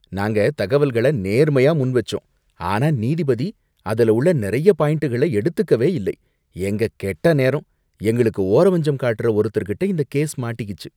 நாங்க தகவல்கள நேர்மையா முன்வச்சோம் ஆனா நீதிபதி அதில உள்ள நிறைய பாயின்ட்கள எடுத்துக்கவே இல்லை, எங்க கெட்ட நேரம், எங்களுக்கு ஓரவஞ்சகம் காட்டுற ஒருத்தர் கிட்ட இந்த கேஸ் மாட்டிக்கிச்சு.